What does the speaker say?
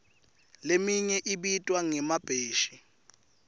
leminye ibitwa ngemabheshi